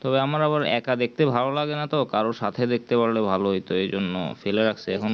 তো আমার আবার এক দেখতে ভালো লাগে না তো কারোর সাথে দেখতে পারলে হয় তো ভালো হইতো এরজন্য ফেলে রাখছে এখন